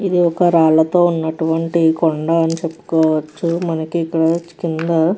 ఇది ఒక రాళ్ళతో ఉన్నటువంటి కొండ అని చెప్పుకోవచ్చు మనకి ఇక్కడ కింద --